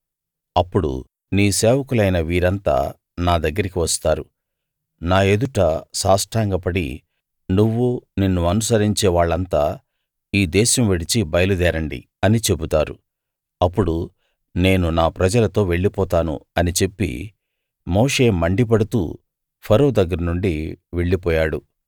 అప్పుడు నీ సేవకులైన వీరంతా నా దగ్గరికి వస్తారు నా ఎదుట సాష్టాంగపడి నువ్వు నిన్ను అనుసరించే వాళ్ళంతా ఈ దేశం విడిచి బయలుదేరండి అని చెబుతారు అప్పుడు నేను నా ప్రజలతో వెళ్ళిపోతాను అని చెప్పి మోషే మండిపడుతూ ఫరో దగ్గరనుండి వెళ్ళిపోయాడు